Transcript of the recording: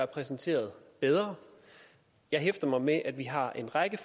præsenteret bedre jeg hæfter mig ved at vi har en række